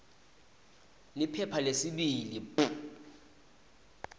liphepha lesibili p